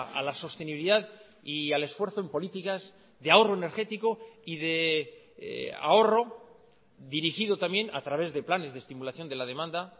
a la sostenibilidad y al esfuerzo en políticas de ahorro energético y de ahorro dirigido también a través de planes de estimulación de la demanda